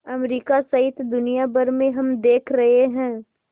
America सहित दुनिया भर में हम देख रहे हैं